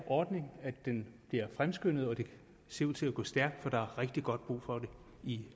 ordning bliver fremskyndet og at det ser ud til at gå stærkt for der er rigtig god brug for den i